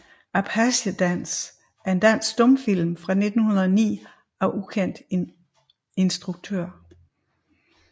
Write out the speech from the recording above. Apache Dans er en dansk stumfilm fra 1909 af ukendt instruktør